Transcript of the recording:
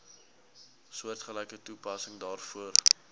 soortgelyke toepassing daarvoor